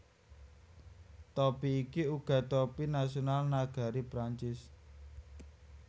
Topi iki uga topi nasional nagari Prancis